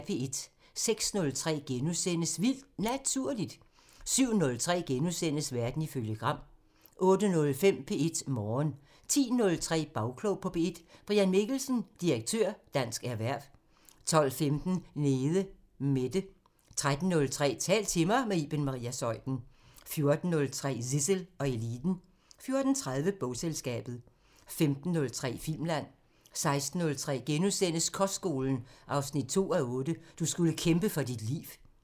06:03: Vildt Naturligt * 07:03: Verden ifølge Gram * 08:05: P1 Morgen 10:03: Bagklog på P1: Brian Mikkelsen, dir. Dansk Erhverv 12:15: Nede Mette 13:03: Tal til mig – med Iben Maria Zeuthen 14:03: Zissel og Eliten 14:30: Bogselskabet 15:03: Filmland 16:03: Kostskolen 2:8 – "Du skulle kæmpe for dit liv" *